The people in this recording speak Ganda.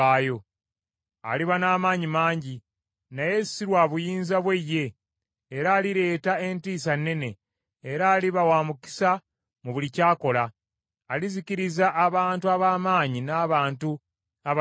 Aliba n’amaanyi mangi, naye si lwa buyinza bwe ye, era alireeta entiisa nnene, era aliba wa mukisa mu buli ky’akola. Alizikiriza abantu ab’amaanyi n’abantu abatukuvu.